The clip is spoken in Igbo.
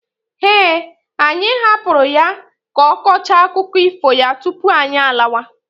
Eh, anyị hapụrụ ya ka ọ kọchaa akụkọ ifo ya tupu anyị alawa.